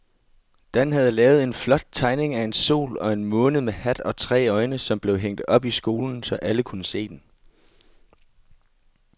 Dan havde lavet en flot tegning af en sol og en måne med hat og tre øjne, som blev hængt op i skolen, så alle kunne se den.